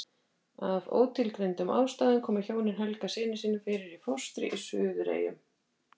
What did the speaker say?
Af ótilgreindum ástæðum komu hjónin Helga syni sínum fyrir í fóstri í Suðureyjum.